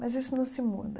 Mas isso não se muda.